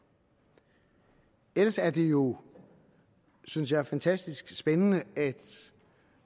ellers er det jo synes jeg fantastisk spændende at